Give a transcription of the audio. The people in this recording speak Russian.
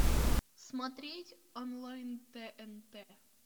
смотреть онлайн тнт